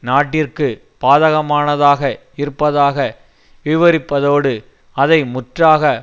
நாட்டிற்கு பாதகமானதாக இருப்பதாக விவரிப்பதோடு அதை முற்றாக